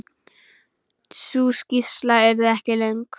Sú skýrsla yrði ekki löng.